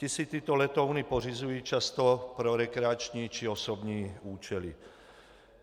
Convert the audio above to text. Ti si tyto letouny pořizují často pro rekreační či osobní účely.